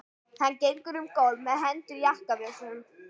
Hann gengur um gólf með hendur í jakkavösunum.